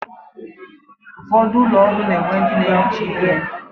Ụfọdụ ụlọ ọrụ na-ewe ndị na-ehicha ihe.